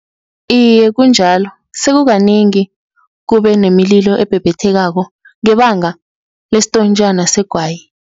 Iye, kunjalo, sekukanengi kube nemililo ebhebhethekako ngebanga lestontjana segwayi.